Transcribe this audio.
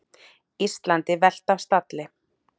Íslandi velt af stalli